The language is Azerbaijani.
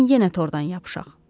Gəlin yenə tordan yapışaq.